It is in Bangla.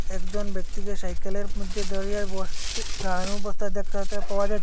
একজন ব্যক্তিকে সাইকেলের মধ্যে দাঁড়িয়ে বস উ দাঁড়ানো অবস্থায় দেখতে পাওয়া যা--